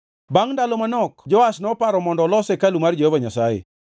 Bangʼ ndalo manok Joash noparo mondo olos hekalu mar Jehova Nyasaye.